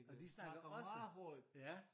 Og de snakker også ja